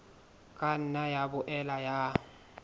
ka nna ya boela ya